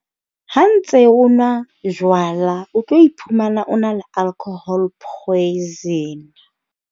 Ha ntse o nwa jwala, o tlo iphumana o na le alcohol poison.